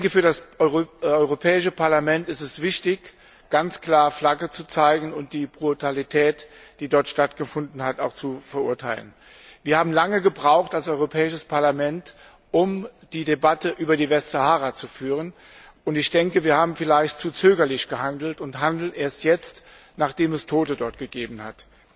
Für das Europäische Parlament ist es wichtig, ganz klar Flagge zu zeigen, und die Brutalität, die dort stattgefunden hat, auch zu verurteilen. Wir haben als Europäisches Parlament lange gebraucht, die Debatte über die Westsahara zu führen, und ich denke, wir haben vielleicht zu zögerlich gehandelt und handeln erst jetzt, nachdem es dort Tote gegeben hat.